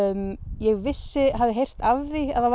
ég hafði heyrt af því að það